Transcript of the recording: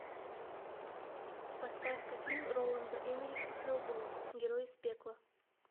поставь ка фильм роланда эммериха хеллбой герой из пекла